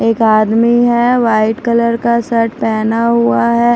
एक आदमी है वाइट कलर का शर्ट पहना हुआ है ।